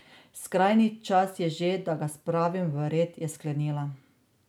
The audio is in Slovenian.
Skrajni čas je že, da ga spravi v red, je sklenila.